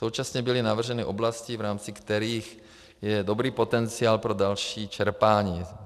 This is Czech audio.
Současně byly navrženy oblasti, v rámci kterých je dobrý potenciál pro další čerpání.